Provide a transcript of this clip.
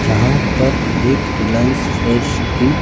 जहां पर एक रिलायंस फ्रेश की--